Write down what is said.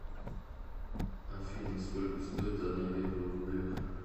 афина сколько стоит одно евро в рублях